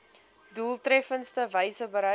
doeltreffendste wyse bereik